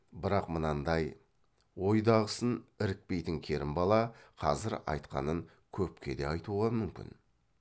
бірақ мынандай ойдағысын ірікпейтін керімбала қазір айтқанын көпке де айтуға мүмкін